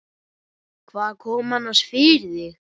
Hvað kom annars fyrir þig?